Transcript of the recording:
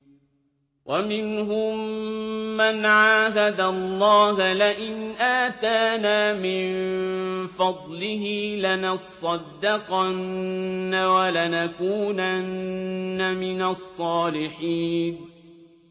۞ وَمِنْهُم مَّنْ عَاهَدَ اللَّهَ لَئِنْ آتَانَا مِن فَضْلِهِ لَنَصَّدَّقَنَّ وَلَنَكُونَنَّ مِنَ الصَّالِحِينَ